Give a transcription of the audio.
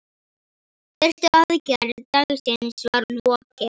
Fyrstu aðgerð dagsins var lokið.